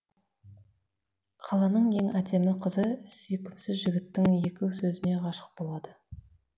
қаланың ең әдемі қызы сүйкімсіз жігіттің екі сөзіне ғашық болады